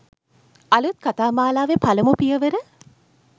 අලුත් කතා මාලාවේ පළමු පියවර